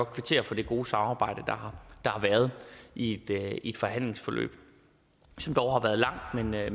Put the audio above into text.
kvittere for det gode samarbejde der har været i et forhandlingsforløb som har været